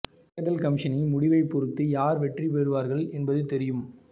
தேர்தல் கமிசனின் முடிவை பொறுத்து யார் வெற்றி பெறுவார்கள் என்பது தெரியும்